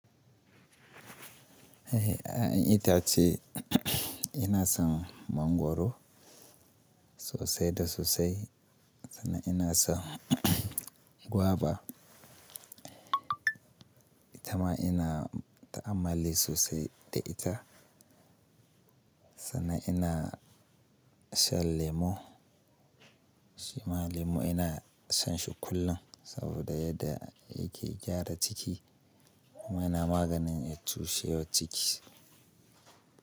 Eh, a'a itace ina son mangwaro sosai da sosai. Sannan ina son guava. Ita ma ina ta'ammali sosai da ita. Sannan ina shan lemo. Shima lemo ina shan shi kullum saboda yadda yake gyara ciki. Kuma yana maganin ya cushewa ciki.